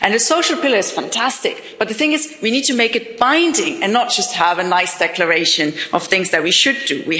The Social Pillar is fantastic, but the thing is we need to make it binding and not just have a nice declaration of things that we should do.